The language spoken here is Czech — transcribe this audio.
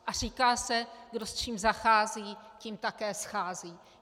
A říká se, kdo s čím zachází, tím také schází.